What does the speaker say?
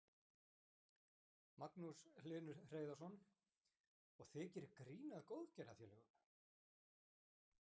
Magnús Hlynur Hreiðarsson: Og þið gerið grín að góðgerðarfélögum?